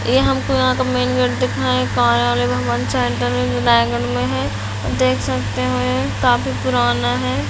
ये हमको यहाँ का मैन गेट दिखा है रायगढ़ में है देख सकते है काफी पुराना है।